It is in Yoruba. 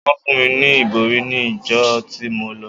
Wọ́n fún mi ní ìbòrí ní ìjọ tí mo lọ.